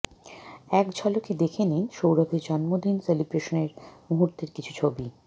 একঝলকে দেখে নিন সৌরভের জন্মদিন সেলিব্রেশনের মুহূর্তের কিছু ছবি